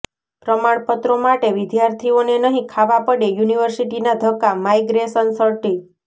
પ્રમાણપત્રો માટે વિદ્યાર્થીઓને નહિ ખાવા પડે યુનિવર્સિટીના ધક્કા માઈગ્રેશન સર્ટિ